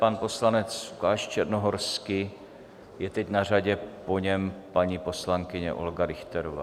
Pan poslanec Lukáš Černohorský je teď na řadě, po něm paní poslankyně Olga Richterová.